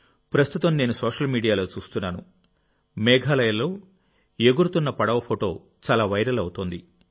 ప్రస్తుతం నేను సోషల్ మీడియాలో చూస్తున్నాను మేఘాలయలో ఎగురుతున్న పడవ ఫోటో చాలా వైరల్ అవుతోంది